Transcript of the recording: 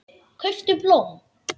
Kauptu blóm.